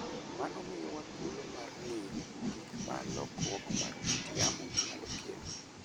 Mano miyowa thuolo mar ng'eyo gik ma lokruok mar kit yamo nyalo kelo.